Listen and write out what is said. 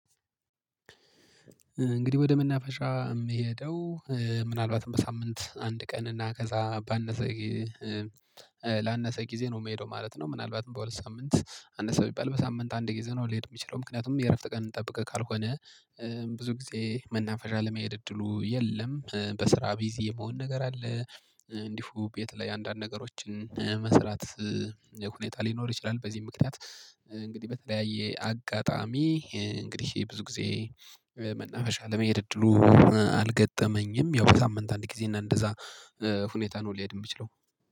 እንግዲህ ወደ መናፈሻ የምሄደው ምናልባትም በሳምንት አንድ ቀን እና ከዛ ባነሰ ላነሰ ጊዜ ነው የምሄደው ማለት ነው። ምናልባትም በሁለት ሳምንት አነሰ ቢባል በሳምንት አንድ ጊዜ ነው ልሄድ የምችለው ምክንያቱም የእረፍት ቀን ጠብቀህ ካልሆነ ብዙ ጊዜ መናፈሻ ለመሄድ እድሉ የለም። በስራ ቢዚ የመሆን ነገር አለ እንዲሁ ቤት ላይ አንዳንድ ነገሮችን መስራት ሁኔታ ሊኖር ይችላል። በዚህ ምክንያት እንግዲህ በተለያየ አጋጣሚ እንግዲህ ብዙ ጊዜ መናፈሻ ለመሄድ እድሉ አልገጠመኝም። ያው በሳምንት አንድ ጊዜ እና እንደዛ ሁኔታ ነው ልሄድ እምችለው